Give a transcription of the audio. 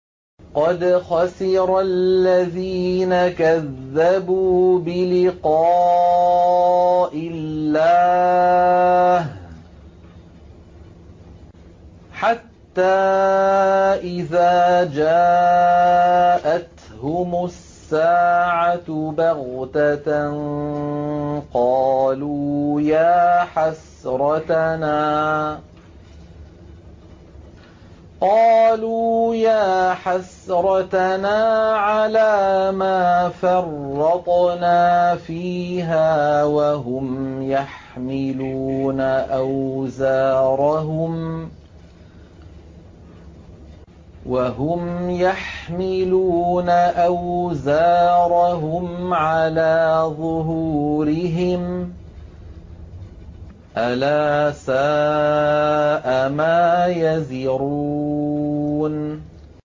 قَدْ خَسِرَ الَّذِينَ كَذَّبُوا بِلِقَاءِ اللَّهِ ۖ حَتَّىٰ إِذَا جَاءَتْهُمُ السَّاعَةُ بَغْتَةً قَالُوا يَا حَسْرَتَنَا عَلَىٰ مَا فَرَّطْنَا فِيهَا وَهُمْ يَحْمِلُونَ أَوْزَارَهُمْ عَلَىٰ ظُهُورِهِمْ ۚ أَلَا سَاءَ مَا يَزِرُونَ